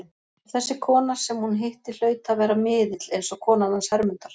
Og þessi kona sem hún hitti hlaut að vera miðill, eins og konan hans Hermundar.